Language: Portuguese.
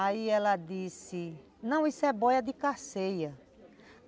Aí ela disse, não, isso é boia de cerceia.